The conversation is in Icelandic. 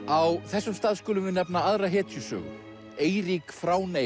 á þessum stað skulum við nefna aðra hetjusögu Eirík